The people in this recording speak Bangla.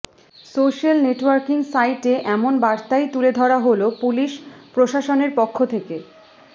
সোশ্যাল নেটওয়ার্কিং সাইটে এমন বার্তাই তুলে ধরা হলো পুলিশ প্রশাসনের পক্ষ থেকে